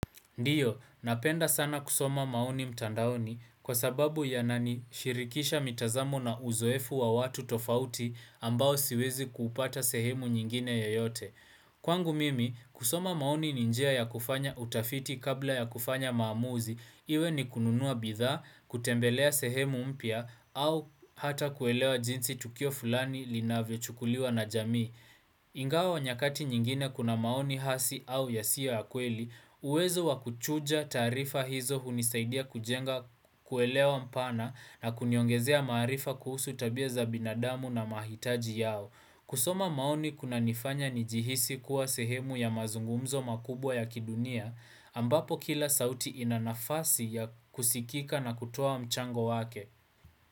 Ndiyo, napenda sana kusoma maoni mtandaoni kwa sababu yananishirikisha mitazamo na uzoefu wa watu tofauti ambao siwezi kupata sehemu nyingine yeyote. Kwangu mimi, kusoma maoni ni njia ya kufanya utafiti kabla ya kufanya maamuzi, iwe ni kununua bidhaa, kutembelea sehemu mpya au hata kuelewa jinsi tukio fulani linavyohukuliwa na jami. Ingawa wa nyakati nyingine kuna maoni hasi au yasiyo ya kweli, uwezo wa kuchuja taarifa hizo hunisaidia kujenga kuelewa mpana na kuniongezea maarifa kuhusu tabia za binadamu na mahitaji yao. Kusoma maoni kunanifanya nijihisi kuwa sehemu ya mazungumzo makubwa ya kidunia, ambapo kila sauti ina nafasi ya kusikika na kutoa mchango wake.